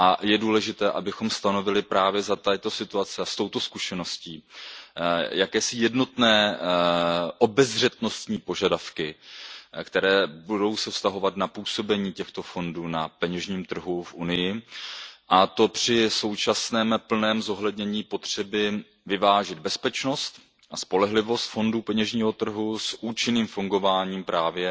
Je důležité, abychom stanovili právě za této situace a s touto zkušeností jakési jednotné obezřetnostní požadavky, které se budou vztahovat na působení těchto fondů na peněžním trhu v Evropské unii, a to při současném plném zohlednění potřeby vyvážit bezpečnost a spolehlivost fondů peněžního trhu s účinným fungováním právě